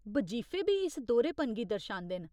बजीफे बी इस दोह्‌रेपन गी दर्शांदे न।